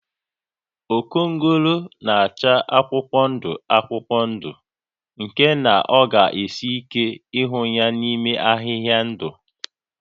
Okongolo na-acha akwụkwọ ndụ akwụkwọ ndụ nke na ọ ga esi ike ịhụ ya n'ime ahịhịa ndụ